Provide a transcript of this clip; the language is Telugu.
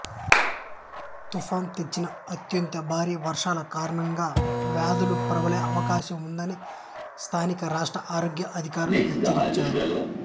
తుఫాను తెచ్చిన అత్యంత భారీ వర్షాల కారణంగా వ్యాధులు ప్రబలే అవకాశం ఉందని స్థానిక రాష్ట్ర ఆరోగ్య అధికారులు హెచ్చరించారు